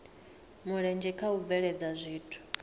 mulenzhe kha u bveledza zwithu